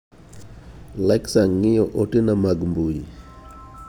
Lexa ng'iyo ote na mag mbui.